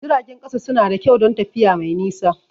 Jiragen ƙasa suna da kyau don tafiya mai nisa.